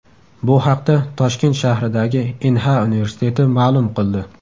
Bu haqda Toshkent shahridagi Inha universiteti ma’lum qildi .